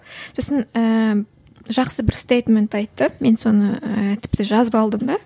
сосын ііі жақсы бір стейтмент айтты мен соны ііі тіпті жазып алдым да